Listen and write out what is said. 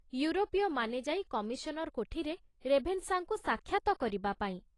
ଇଉରୋପୀୟମାନେ ଯାଇ କମିଶନର କୋଠିରେ ରେଭେନଶାଙ୍କୁ ସାକ୍ଷାତ କରିବା ପାଇଁ।